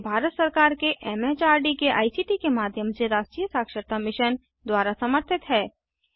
यह भारत सरकार के एमएचआरडी के आईसीटी के माध्यम से राष्ट्रीय साक्षरता मिशन द्वारा समर्थित है